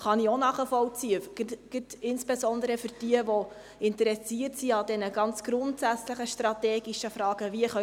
Auch dies kann ich nachvollziehen, insbesondere bei jenen, die an den ganz grundsätzlichen strategischen Fragen interessiert sind: